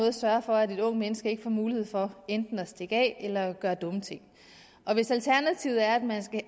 at sørge for at et ungt menneske ikke får mulighed for enten at stikke af eller gøre dumme ting og hvis alternativet er at man skal